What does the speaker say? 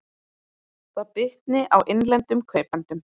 Það bitni á innlendum kaupendum